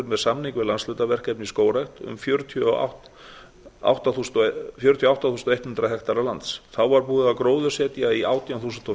með samning við landshlutaverkefni í skógrækt um fjörutíu og átta þúsund hektara lands þá var búið að gróðursetja í átján þúsund og